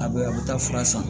A bɛ a bɛ taa fura san